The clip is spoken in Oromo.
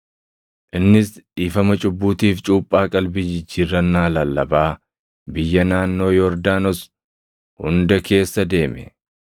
Innis dhiifama cubbuutiif cuuphaa qalbii jijjiirrannaa lallabaa biyya naannoo Yordaanos hunda keessa deeme.